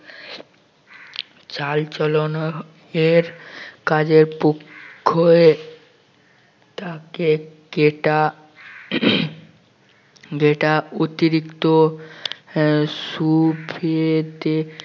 চাল চলনা এর কাজে পোক্ত হয়ে তাকে যেটা যেটা অতিরিক্ত আহ সুখেতে